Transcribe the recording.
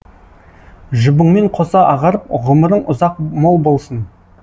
жұбыңмен қоса ағарып ғұмырың ұзақ мол болсын